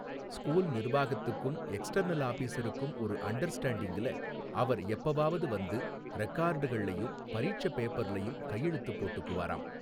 School நிர்வாகத்துக்கும் external ஆபிஸருக்கும் ஒரு அண்டர்ஸ்டேண்டிங்குல அவர் எப்பவாவது வந்து ரெக்கார்டுகள்ளயும் பரீட்சப் பேப்பர்லயும் கையெழுத்துப் போட்டுக்குவாராம்.